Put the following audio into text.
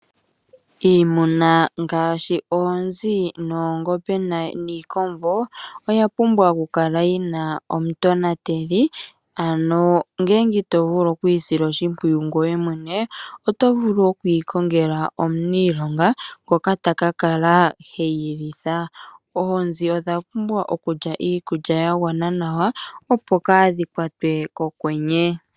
Iimuna ngaashi oongombe niikombo oya pumbwa okukala yina omu tonateli ano ngele ito vulu okuyiyinatela oto vulu okuyikongela omuniilonga ngoka taka kala heyilitha. Oonzi odhapumbwa okulya iikulya yagwana nawa opo kaadhikwatwe kokwenye.